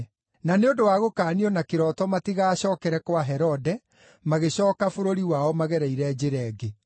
Na nĩ ũndũ wa gũkaanio na kĩroto matigacookere kwa Herode, magĩcooka bũrũri wao magereire njĩra ĩngĩ.